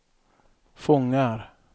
fångar